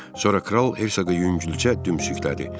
Sonra kral Hersoqu yüngülcə döyüncüklədi.